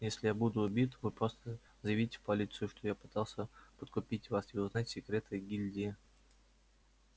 если я буду убит вы просто заявите в полицию что я пытался подкупить вас и узнать секреты гильдии